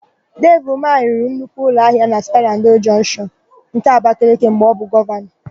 Devi Umahị rụrụ nnukwu ụlọahịa na Sperandio Jọnshịọn nke Abakeleke mgbe ọ bụ Gọvanọ.